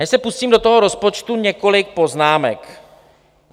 Než se pustím do toho rozpočtu, několik poznámek.